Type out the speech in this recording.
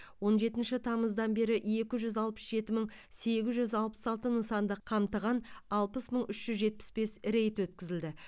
он жетінші тамыздан бері екі жүз алпыс жеті мың сегіз жүз алпыс алты нысанды қамтыған алпыс мың үш жүз жетпіс бес рейд өткізілді